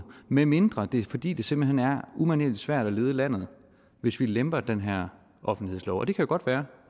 medmindre det er fordi det simpelt hen er umanerlig svært at lede landet hvis vi lemper den her offentlighedslov og det kan godt være